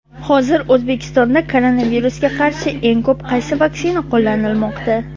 Hozir O‘zbekistonda koronavirusga qarshi eng ko‘p qaysi vaksina qo‘llanilmoqda?.